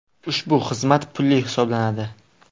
Ushbu xizmat pulli hisoblanadi.